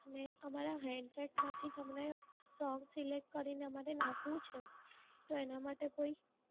અને આ મારા headset માંથી તમને song select કરીને મારે નાખવું છે તો એના માટે કોઈ